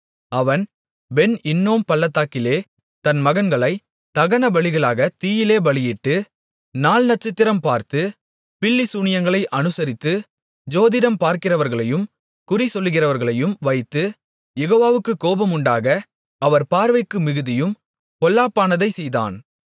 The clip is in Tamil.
அவன் பென் இன்னோம் பள்ளத்தாக்கிலே தன் மகன்களைத் தகனபலிகளாக தீயிலே பலியிட்டு நாள் நட்சத்திரம் பார்த்து பில்லிசூனியங்களை அநுசரித்து ஜோதிடம் பார்க்கிறவர்களையும் குறிசொல்லுகிறவர்களையும் வைத்து யெகோவாவுக்குக் கோபமுண்டாக அவர் பார்வைக்கு மிகுதியும் பொல்லாப்பானதைச் செய்தான்